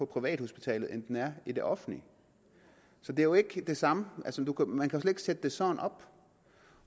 privathospital end den er i det offentlige så det er jo ikke det samme man kan slet ikke sætte det sådan op